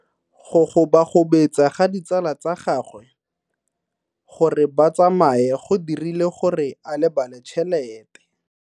Go gobagobetsa ga ditsala tsa gagwe, gore ba tsamaye go dirile gore a lebale tšhelete.